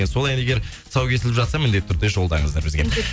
сол ән егер тұсауы кесіліп жатса міндетті түрде жолдаңыздар бізге